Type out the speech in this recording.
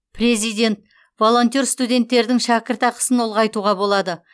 президент волонтер студенттердің шәкіртақысын ұлғайтуға болады